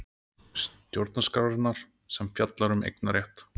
Stjórnarskrárinnar sem fjallar um eignarétt.